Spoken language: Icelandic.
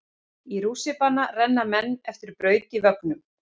Í rússíbana renna menn eftir braut í vögnum.